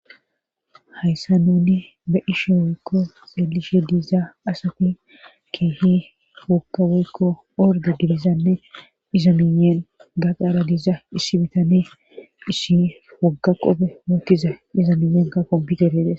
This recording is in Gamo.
hayssa nuni be ishe woykko xeelishe diiza asati keehi hoka woykko orde diizanne iza miiyen gaqaara diiza issi bitane isshi wogga qoppe mookiza iza miiyen kakobi geredes